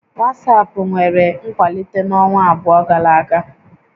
WhatsApp nwere nkwalite n'ọnwa abụọ gara aga